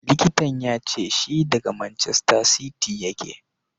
Likitan ya ce shi daga Manchester City yake.